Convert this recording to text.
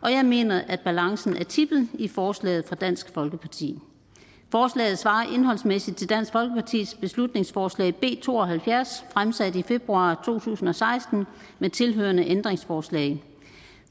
og jeg mener at balancen er tippet i forslaget fra dansk folkeparti forslaget svarer indholdsmæssigt til dansk folkepartis beslutningsforslag b to og halvfjerds fremsat i februar to tusind og seksten med tilhørende ændringsforslag